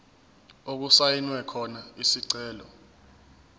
okusayinwe khona isicelo